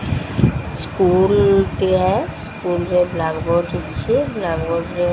School ଟିଏ school ରେ black board ରହିଛି ବ୍ଲାକ ବୋର୍ଡ ର।